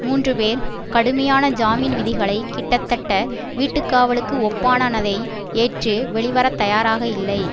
மூன்று பேர் கடுமையான ஜாமீன் விதிகளை கிட்டத்தட்ட வீட்டுக்காவலுக்கு ஒப்பனானதை ஏற்று வெளிவரத்தயாராக இல்லை